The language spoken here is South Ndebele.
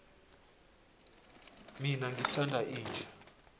mina ngithanda inja